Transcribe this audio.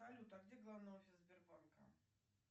салют а где главный офис сбербанка